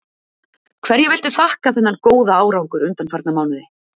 Hverju viltu þakka þennan góða árangur undanfarna mánuði?